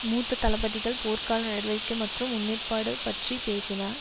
மூத்த தளபதிகள் போர்க்கால நடவடிக்கை மற்றும் முன்னேற்பாடு பற்றி பேசினர்